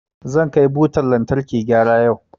Zan kai butan lantarkina gyara yau.